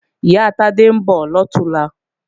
Ìyá Tádé ń bọ̀ lọ̀túnla